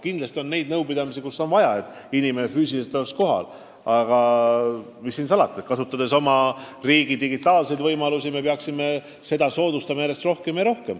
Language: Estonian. Kindlasti on nõupidamisi, kus on vaja, et inimene oleks füüsiliselt kohal, aga kasutades oma riigi digitaalseid võimalusi peaksime kaugtööd soodustama järjest rohkem.